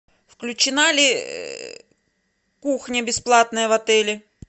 включена ли кухня бесплатная в отеле